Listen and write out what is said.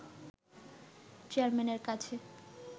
চেয়ারম্যানের কাছে